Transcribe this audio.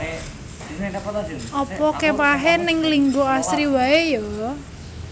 Opo kemahe ning Linggo Asri wae yo